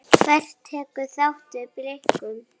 Hver tekur þá við Blikum?